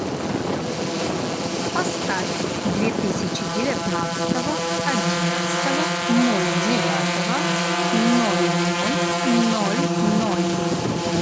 поставь две тысячи девятнадцатого одиннадцатого ноль девятого ноль ноль ноль ноль